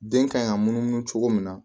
Den kan ka munumunu cogo min na